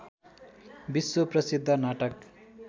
विश्व प्रसिद्ध नाटक